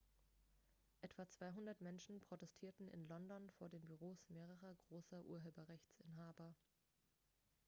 etwa 200 menschen protestierten in london vor den büros mehrerer großer urheberrechtsinhaber